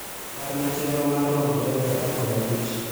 Parna chenro mar romo tarik apar kod abich